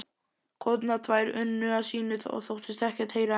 konurnar tvær unnu að sínu og þóttust ekkert heyra en